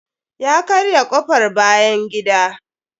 Ya karya kofr bayan gida.